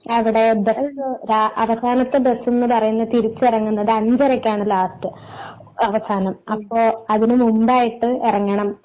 അവിടെ അവസാനത്തെ ബസ് എന്നു പറയുന്നത് തിരിച്ചിറങ്ങുന്നത് അഞ്ചരക്കാണ് ലാസ്റ്റ് അവസാനം അപ്പോൾ അതിനു മുമ്പായിട്ട് ഇറങ്ങണം.